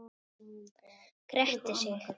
Grettir sig.